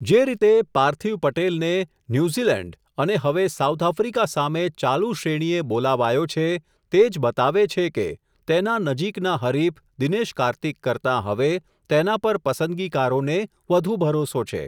જે રીતે, પાર્થિવ પટેલ ને, ન્યુઝીલેન્ડ અને હવે, સાઉથ આફ્રિકા સામે, ચાલુ શ્રેણીએ બોલાવાયો છે, તે જ બતાવે છે કે, તેના નજીકના હરિફ, દિનેશ કાર્તિક કરતા હવે, તેના પર પસંદગીકારોને વધુ ભરોસો છે.